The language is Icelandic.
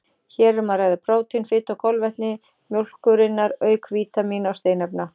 Hér er um að ræða prótín, fitu og kolvetni mjólkurinnar auk vítamína og steinefna.